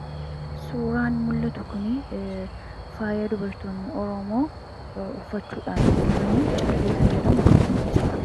Suuraan mul'atu kuni faaya dubartoonni Oromoo uffachuudhaan beekamanii Callee kan jedhamu kan mul'isu dha.